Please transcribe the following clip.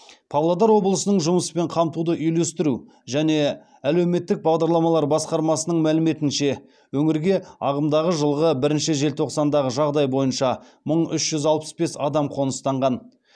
павлодар облысының жұмыспен қамтуды үйлестіру және әлеуметтік бағдарламалар басқармасының мәліметінше өңірге ағымдағы жылғы бірінші желтоқсандағы жағдай бойынша мың үш жүз алпыс бес адам қоныстанған